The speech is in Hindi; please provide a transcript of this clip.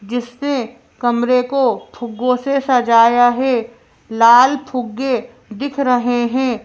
जिसपे कमरे को फ़ुगो से सजाया है लाल फुगे दिख रहे हैं।